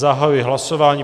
Zahajuji hlasování.